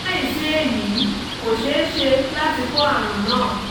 láìsí èyí kò ṣe é ṣe láti kó àrùn náà